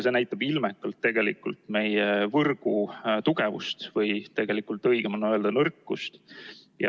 See näitab ilmekalt tegelikult meie võrgu tugevust, või tegelikult õigem on öelda nõrkust.